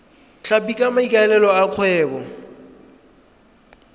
tlhapi ka maikaelelo a kgwebo